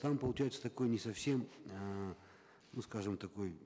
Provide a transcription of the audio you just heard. там получается такой не совсем э ну скажем такой